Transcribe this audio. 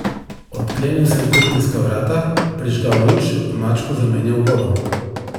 Odklenil sem kuhinjska vrata, prižgal luč, mačku zamenjal vodo.